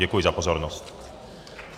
Děkuji za pozornost.